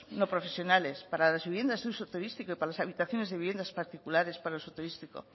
no profesionales para las viviendas de uso turístico y para las habitaciones de viviendas particulares para uso turístico